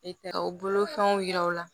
E tɛ u bolo fɛnw yira u la